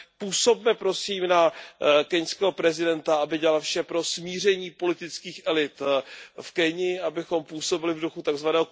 Působme prosím na keňského prezidenta, aby dělal vše pro smíření politických elit v Keni, abychom působili v duchu tzv.